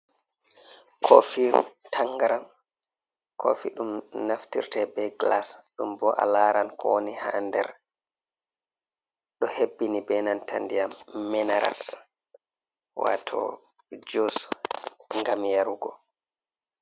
Kofiru tangaram. Kofi ɗum naftirte be glas ɗum bo a laran ko woni ha nder, do hebbini be nan ta ndiyam minaras wato jus gam yarugo.